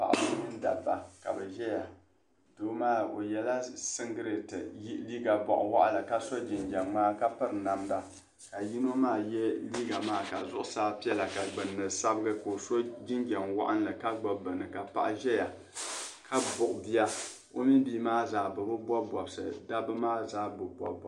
Paɣiba mini dabba ka bɛ zaya. Doo maa o yɛla siŋgileeti liiga bɔɣiwaɣila ka so jinjam ŋmaa ka piri namda ka yino maa ye liiga maa ka zuɣusaa piɛla ka gbunni sabigi ka o so jinjam waɣinli ka gbibi bini ka paɣa zaya ka buɣi bia. O mini bia maa zaa bɛ bi bɔbi bɔbisi dabba maa zaa bi bɔbi bɔbisi.